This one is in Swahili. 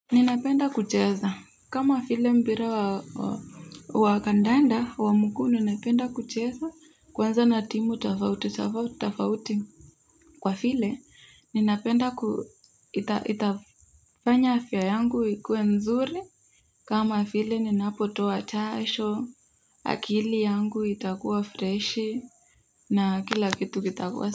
Ninapenda kucheza kama vile mpira wa kandanda wa mguu ninapenda kucheza kwanza na timu tafauti tafauti kwa vile ninapenda itafanya afya yangu ikuwe nzuri kama vile ninapotoa jasho akili yangu itakuwa freshi na kila kitu kitakuwa.